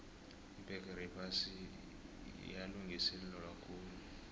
ibbegere yephasi yalungiselelwakhulu